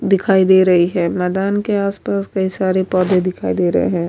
دکھائی دے رہی ہے۔ میدان کے اس پاس کئی سارے پڑھے دکھائی دے رہے ہے۔